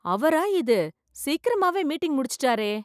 அவரா இது? சீக்கிரமாவே மீட்டிங் முடிச்சிட்டாரே!